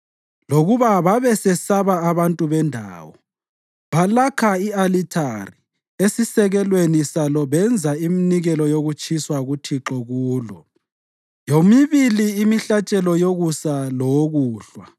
Lokuba babesesaba abantu bendawo, balakha i-alithari esisekelweni salo benza iminikelo yokutshiswa kuThixo kulo, yomibili imihlatshelo yokusa lowokuhlwa.